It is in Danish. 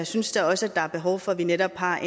synes da også at der er behov for at vi netop har